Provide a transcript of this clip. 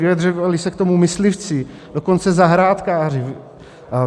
Vyjadřovali se k tomu myslivci, dokonce zahrádkáři.